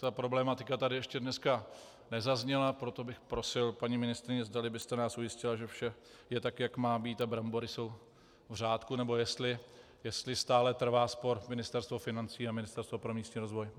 Ta problematika tady ještě dnes nezazněla, proto bych prosil, paní ministryně, zdali byst nás ujistila, že vše je tak, jak má být, a brambory jsou v řádku, nebo jestli stále trvá spor Ministerstva financí a Ministerstva pro místní rozvoj.